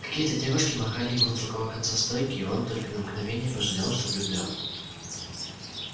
какие-то девушки махали ему с другого конца стойки и он только на мгновение пожалел что влюблён